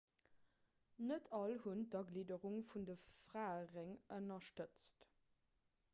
net all hunn d'agglidderung vun de fraeräng ënnerstëtzt